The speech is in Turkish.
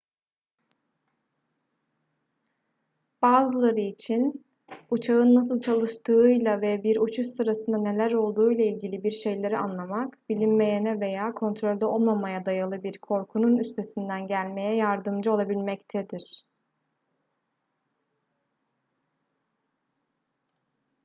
bazıları için uçağın nasıl çalıştığıyla ve bir uçuş sırasında neler olduğuyla ilgili bir şeyleri anlamak bilinmeyene veya kontrolde olmamaya dayalı bir korkunun üstesinden gelmeye yardımcı olabilmektedir